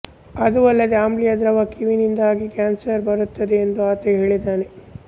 ಅದೂ ಅಲ್ಲದೇ ಆಮ್ಲೀಯ ದ್ರವ ಕೀವಿನಿಂದಾಗಿ ಕ್ಯಾನ್ಸರ್ ಬರುತ್ತದೆ ಎಂದು ಆತ ಹೇಳಿದ್ದಾನೆ